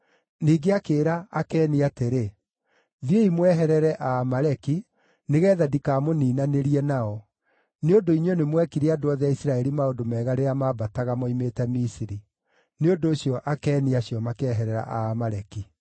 Ningĩ akĩĩra Akeni atĩrĩ, “Thiĩi mweherere Aamaleki nĩgeetha ndikamũniinanĩrie nao; nĩ ũndũ inyuĩ nĩmwekire andũ othe a Isiraeli maũndũ mega rĩrĩa maambataga moimĩte Misiri.” Nĩ ũndũ ũcio Akeni acio makĩeherera Aamaleki.